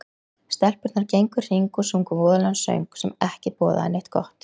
Stelpurnar gengu í hring og sungu voðalegan söng, sem ekki boðaði neitt gott